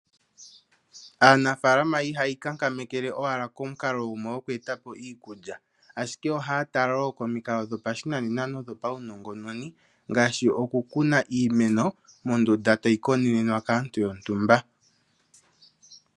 Aanafalama ihayi ikankamekele owala komukalo gumwe gokweeta po iikulya. Ashike ohaya tala wo komikalo dhopashinane nodho pawunongononi, ngaashi okukuna iimeno mondunda tayi konenenwa kaantu yontumba.